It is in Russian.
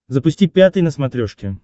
запусти пятый на смотрешке